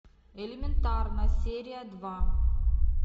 элементарно серия два